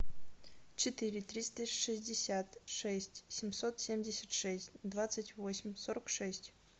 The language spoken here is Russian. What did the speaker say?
четыре триста шестьдесят шесть семьсот семьдесят шесть двадцать восемь сорок шесть